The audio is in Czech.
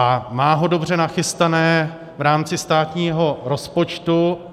A má ho dobře nachystané v rámci státního rozpočtu.